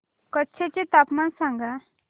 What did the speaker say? कच्छ चे तापमान सांगा